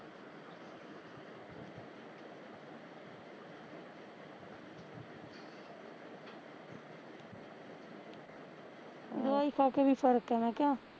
ਅਹ ਦਵਾਈ ਖਾ ਕੇ ਵੀ ਫਰਕ ਐ ਮੈਂ ਕਿਹਾਂ